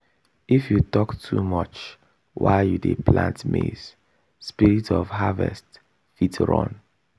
if you talk too much while you dey plant maize spirit of harvest fit run.